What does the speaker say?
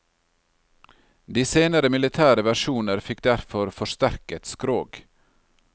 De senere militære versjoner fikk derfor forsterket skrog.